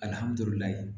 Alihamudulila